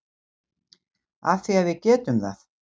Af því að við getum það.